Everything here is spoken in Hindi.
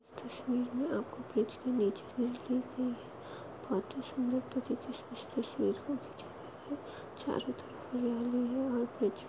तस्वीर में आपको चारो तरफ हरियाली हैं और कुछ --